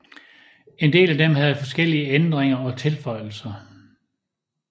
En del af dem havde forskellige ændringer og tilføjelser